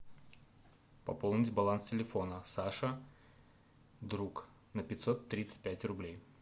пополнить баланс телефона саша друг на пятьсот тридцать пять рублей